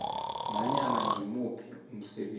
nanyana ngimuphi umsebenzi